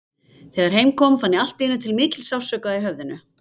Þegar heim kom fann ég allt í einu til mikils sársauka í höfðinu.